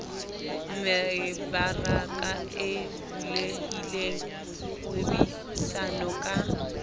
mebaraka e bulehileng kgwebisano ka